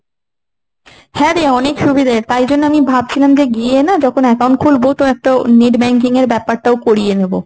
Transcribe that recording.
হ্যাঁরে অনেক সুবিধে। তাই জন্য আমি ভাবছিলাম যে গিয়ে না, যখন account খুলব তো একটা net banking এর ব্যাপারটাও করিয়ে নেব।